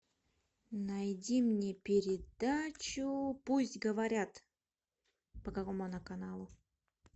найди мне передачу пусть говорят по какому она каналу